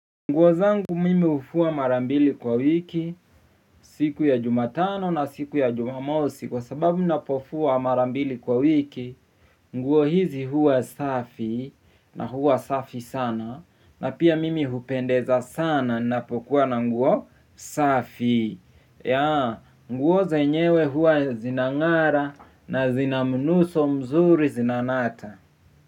Nguo zangu mimi hufua mara mbili kwa wiki siku ya jumatano na siku ya jumamosi kwa sababu mnapofua mara mbili kwa wiki. Nguo hizi huwa safi na huwa safi sana na pia mimi hupendeza sana napokuwa na nguo safi. Nguo zenyewe huwa zinangara na zina mnuso mzuri zinanata.